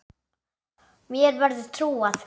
Mér verður trúað.